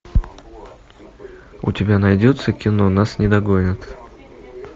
у тебя найдется кино нас не догонят